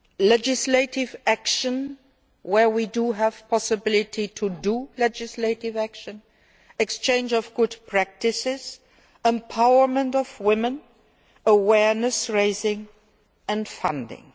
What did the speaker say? legislative action where we have the possibility to take legislative action, the exchange of good practices, the empowerment of women, awareness raising and funding.